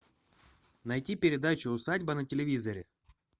найти передачу усадьба на телевизоре